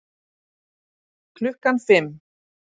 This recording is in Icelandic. Klukkan fimm